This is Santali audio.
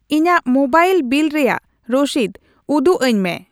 ᱤᱧᱟᱜ ᱢᱳᱵᱟᱭᱤᱞ ᱵᱤᱞ ᱨᱮᱭᱟᱜ ᱨᱚᱥᱤᱫ ᱩᱫᱩᱜᱟᱹᱧ ᱢᱮ ᱾